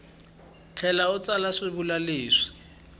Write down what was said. tlhela u tsala swivulwa leswi